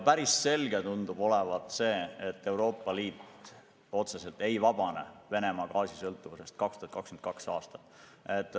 Päris selge tundub olevat see, et Euroopa Liit otseselt ei vabane Venemaa gaasi sõltuvusest juba 2022. aastal.